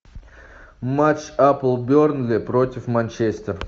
матч апл бернли против манчестер